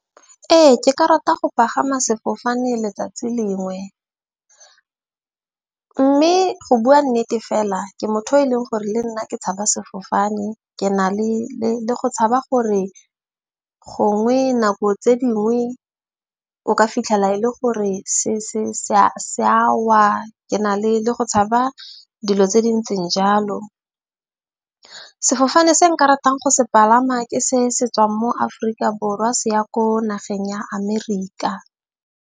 Ee, ke ka rata go pagama sefofane letsatsi lengwe. Mme go bua nnete fela ke motho yo e leng gore le nna ke tshaba sefofane. Ke na le go tshaba gore gongwe nako tse dingwe o ka fitlhela e le gore se sa wa. Ke na le le go tshaba dilo tse di ntseng jalo. Sefofane se nka ratang go se palama ke se se tswang mo Aforika Borwa se ya ko nageng ya Amerika.